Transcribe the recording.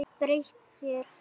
Breytt þér.